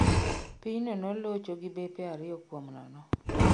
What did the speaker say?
Pinyno nolocho gi bepe ariyo kuom nono